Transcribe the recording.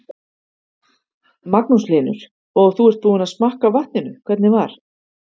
Magnús Hlynur: Og þú ert búinn að smakka á vatninu, hvernig var?